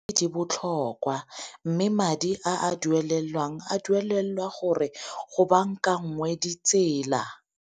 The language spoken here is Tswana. Di botlhokwa mme madi a duelelwang a duelelwa gore go bankanngwe ditsela.